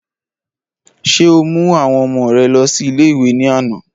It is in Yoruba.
Ṣé o mú àwọn ọmọ rè lọ sí ilé ìwé ní àná?